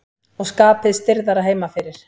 Og skapið stirðara heima fyrir.